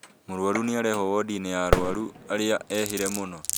Mũrwaru nĩarehwo wodi-inĩ ya arwaru arĩa ehĩre mũno